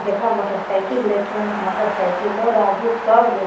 जेकरा मोटरसाइकिल ले के हन त मोटरसाइकिलो राजदूत सब ले --